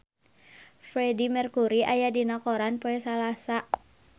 Freedie Mercury aya dina koran poe Salasa